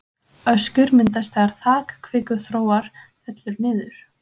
Öskjur myndast þegar þak kvikuþróar fellur niður.